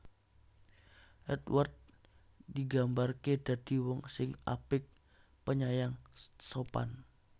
Édward digambarké dadi wong sing apik penyayang sopan